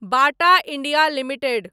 Bata India limited